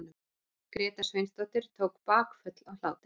Gréta Sveinsdóttir tók bakföll af hlátri.